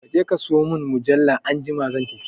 Kaje ka sayo mun mujalla anjima zan tafi